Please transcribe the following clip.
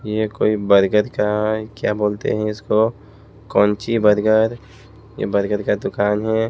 यह कोई बर्गर का क्या बोलते हैं इसको कोंची बर्गर ये बर्गर का दुकान है।